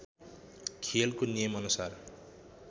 खेलको नियम अनुसार